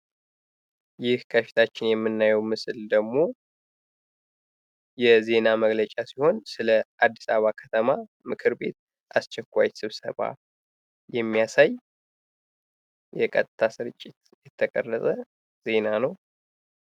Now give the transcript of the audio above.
ይህ ከፊታችን የምናየው ምስል ደግሞ የዜና መግለጫ ሲሆን የአድስ አበባ ከተማ ምክር ቤት አስቸኳይ ስብሰባ የሚያሳይ የቀጥታ ስርጭት የሚያሳይ የተቀረጸ ዜና ነው።